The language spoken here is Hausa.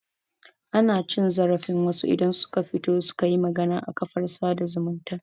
Ana cin zarafin wasu idan suka fito suka yi magana a kafar sada zumunta